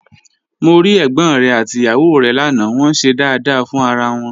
Mo rí ẹ̀gbọ́n rẹ̀ àti ìyàwó rẹ̀ lánàá, wọ́n ń ṣe dáadáa fún ara wọn